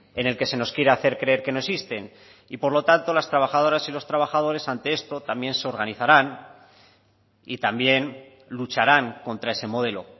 en el que se nos quiere hacer creer que no existen y por lo tanto las trabajadoras y los trabajadores ante esto también se organizarán y también lucharán contra ese modelo